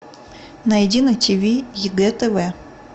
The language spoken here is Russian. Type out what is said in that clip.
найди на ти ви егэ тв